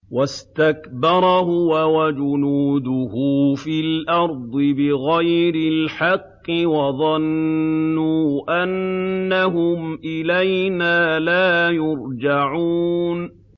وَاسْتَكْبَرَ هُوَ وَجُنُودُهُ فِي الْأَرْضِ بِغَيْرِ الْحَقِّ وَظَنُّوا أَنَّهُمْ إِلَيْنَا لَا يُرْجَعُونَ